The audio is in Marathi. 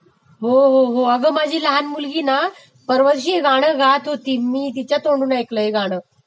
हो हो हो अगं माझी लहान मुलगीना परवाच्या दिवशी गातं होती हे गाणं तिच्या तोंडून ऐकलं मी हे गाणं